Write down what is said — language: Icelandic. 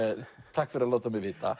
takk fyrir að láta mig vita